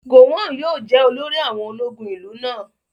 Gowon yóò jẹ́ olórí àwọn ológun ìlú náà